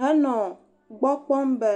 henɔ gbɔ kpɔm be